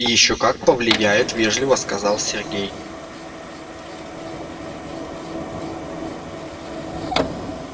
ещё как повлияет вежливо сказал сергей